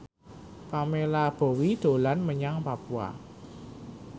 Pamela Bowie dolan menyang Papua